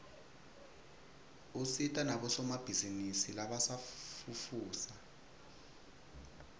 usita nabosomabhizinisi labasafufusa